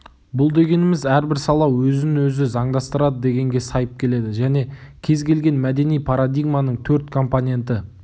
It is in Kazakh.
бұл дегеніміз әрбір сала өзін-өзі заңдастырады дегенге сайып келеді және кез келген мәдени парадигманың төрт компоненті